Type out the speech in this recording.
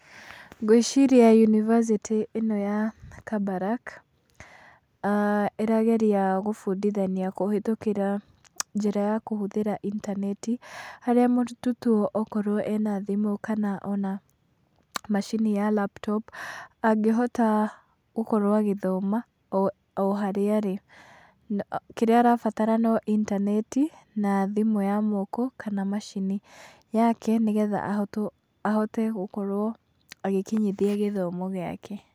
Ngwĩciria yunibacĩtĩ ĩno ya Kabarak, ĩrageria gũbundithania kũhĩtũkĩra njĩra ya kũhũthĩra intaneti, harĩa mũrutwo tu okorwo ena thimũ kana ona macini ya laptop, angĩhota gũkorwo agĩthoma o harĩa arĩ. Kĩrĩa arabatara no intaneti na thimũ ya moko kana macini yake nĩ getha ahote gũkorwo agĩkinyithia gĩthomo gĩake.